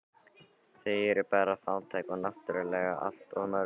Þau eru bara fátæk og náttúrlega allt of mörg